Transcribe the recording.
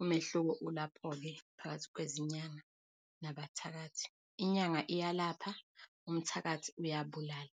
Umehluko ulapho-ke, phakathi kwezinyanga nabathakathi. Inyanga iyalapha, umthakathi uyabulala.